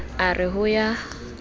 a re ho ya ka